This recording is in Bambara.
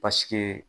Paseke